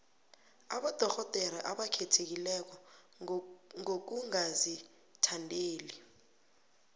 abodorhodere abakhethekileko ngokungazithandeli